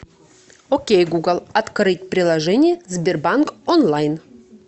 окей гугл открыть приложение сбербанк онлайн